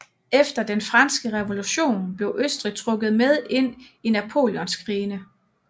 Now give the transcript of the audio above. Efter den franske revolution blev Østrig trukket med ind i napoleonskrigene